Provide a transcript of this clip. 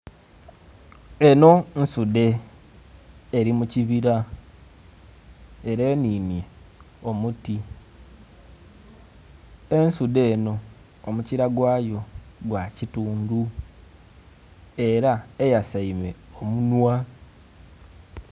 Eno, nsudhe, eri mu kibira era eninye omuti. Ensudhe eno, omukira gwayo gwa kitundu era eyasaime omunhwa.